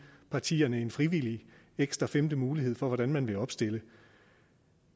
partierne en frivillig ekstra femte mulighed for hvordan de vil opstille